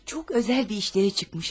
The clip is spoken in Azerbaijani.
Çox özəl bir işləri çıxmış.